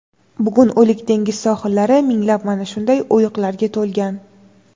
bugun O‘lik dengiz sohillari minglab mana shunday o‘yiqlarga to‘lgan.